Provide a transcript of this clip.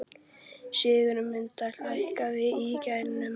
Sigurmunda, hækkaðu í græjunum.